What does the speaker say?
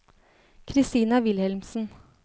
Kristina Wilhelmsen